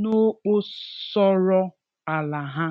n’ógbòsọrọ álá ha.